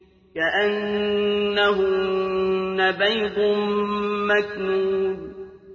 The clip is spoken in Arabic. كَأَنَّهُنَّ بَيْضٌ مَّكْنُونٌ